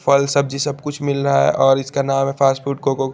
फल सब्जी सब कुछ मिल रहा है और इसके अलावा फ़ास्ट फ़ूड कोको --